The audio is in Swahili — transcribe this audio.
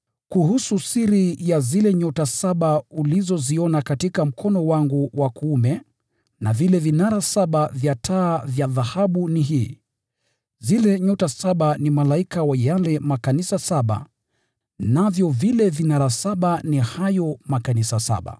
Kuhusu siri ya zile nyota saba ulizoziona katika mkono wangu wa kuume na vile vinara saba vya taa vya dhahabu ni hii: Zile nyota saba ni malaika wa yale makanisa saba, navyo vile vinara saba ni hayo makanisa saba.